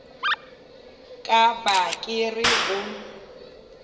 ka ba ke re o